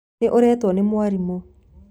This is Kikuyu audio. Nĩ ũretwo nĩ mwarimũ